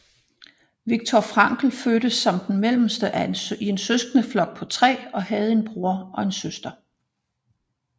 Viktor Frankl fødtes som den mellemste i en søskendeflok på tre og havde en bror og en søster